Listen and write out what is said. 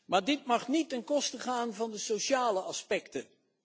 Maar dit mag niet ten koste gaan van de sociale aspecten.